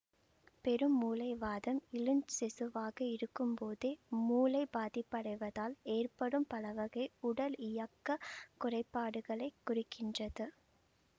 பெருமூளை வாதம் இளஞ்சிசுவாக இருக்கும்போதே மூளை பாதிப்படைவதால் ஏற்படும் பலவகை உடலியக்கக் குறைபாடுகளை குறிக்கின்றது